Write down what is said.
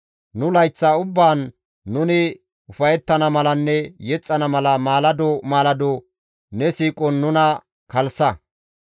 Nu layththa ubbaan nuni ufayettana malanne yexxana mala maalado maalado ne siiqon nuna kalssa.